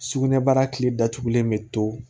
Sugunɛbara kile datugulen bɛ to